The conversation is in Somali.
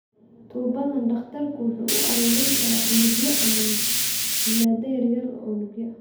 Tuubadan, dhakhtarku waxa uu ururin karaa unugyo ama muunado yaryar oo unugyo ah.